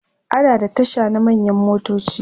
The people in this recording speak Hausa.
ana da Tasha na manyan motoci